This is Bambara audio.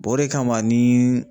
o de kama ni